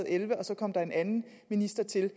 elleve og så kom der en anden minister til